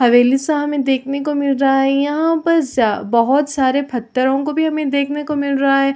हवेली सा हमें देखने को मिल रहा है यहाँ पास बहुत सारे पत्थरों को भी हमें देखने को मिल रहा है।